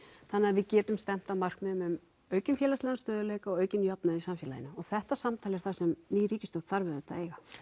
þannig við getum stefnt að markmiðum um aukinn félagslegan stöðugleika og aukinn jöfnuð í samfélaginu og þetta samtal er það sem ný ríkisstjórn þarf auðvitað